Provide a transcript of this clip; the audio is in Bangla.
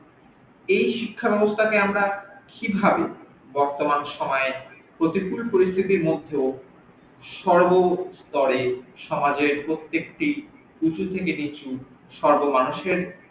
এই শিক্ষা ব্যাবস্থাকে আমরা কি ভাবে বর্তমান সময়ে প্রতিকুল পরিস্থিতির মধ্যেও সর্ব স্তরে সমাজের প্রত্যেক্তি উচু থেকে নিচু সর্ব মানুষের